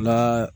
N'a